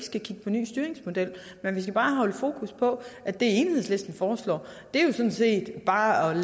ny styringsmodel men vi skal bare holde fokus på at det enhedslisten foreslår bare